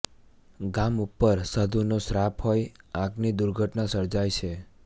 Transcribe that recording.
ગામ ઉપર સાધુનો શ્રાપ હોઈ આગની દુર્ઘટના સર્જાય છે